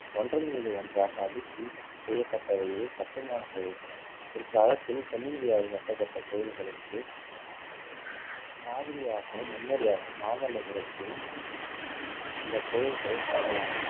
ஒன்றன் மீது ஒன்றாக அடுக்கி செய்யப்பட்டவையே கட்டுமான தொழில்கள் பிற்காலத்தில் தென்னிந்தியாவில் கட்டப்பட்ட கோவில்களுக்கு மாதிரியாகவும் முன்னோடியாகவும் மாமல்லபுரத்தில் இந்த கோயில்கள் கருதலாம்